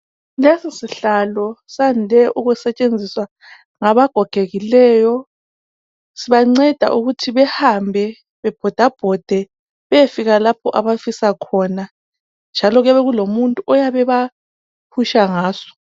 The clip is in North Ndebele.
Lesi sihlalo siyande ukusebenzisa ngaba gogekileyo. Sibanceda ukuthi behambe bebhodabhode beyefika lapho abasisa khona, njalo kuyabe kulomuntu oyabe ebaphusha ngaso.